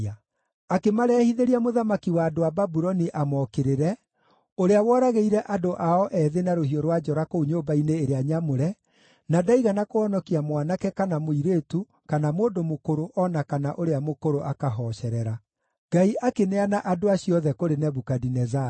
Akĩmarehithĩria mũthamaki wa andũ a Babuloni amokĩrĩre, ũrĩa woragĩire andũ ao ethĩ na rũhiũ rwa njora kũu nyũmba-inĩ ĩrĩa nyamũre, na ndaigana kũhonokia mwanake, kana mũirĩtu, kana mũndũ mũkũrũ, o na kana ũrĩa mũkũrũ akahocerera. Ngai akĩneana andũ acio othe kũrĩ Nebukadinezaru.